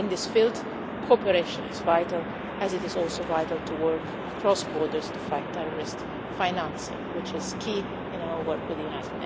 hands. In this field, cooperation is vital, as it is also vital to work across borders in the fight against terrorist financing, which is key in our work with